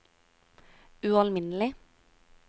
ualminnelig